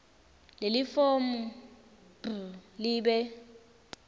lelifomu b libe